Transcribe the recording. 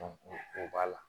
o b'a la